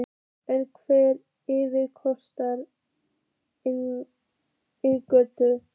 En hver yrði kostnaðurinn við inngöngu?